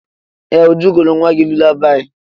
Ee! Uju gụụrụ nwa gị lulabaị.